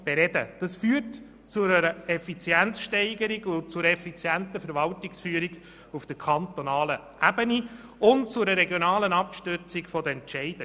Dies führt zu einer effizienten Verwaltungsführung auf der kantonalen Ebene und zu einer regionalen Abstützung der Entscheide.